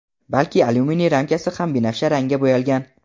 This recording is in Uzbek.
balki alyuminiy ramkasi ham binafsha rangga bo‘yalgan.